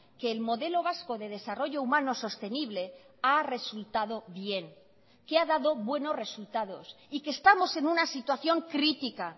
que el modelo vasco de desarrollo humano sostenible ha resultado bien que ha dado buenos resultados y que estamos en una situación crítica